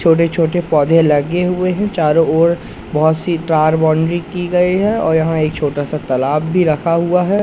छोटे छोटे पौधे लगे हुए हैं चारों ओर बहुत सी तार बाउंड्री की गई है और यहां एक छोटा सा तालाब भी रखा हुआ है।